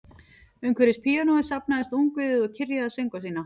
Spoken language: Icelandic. Umhverfis píanóið safnaðist ungviðið og kyrjaði söngva sína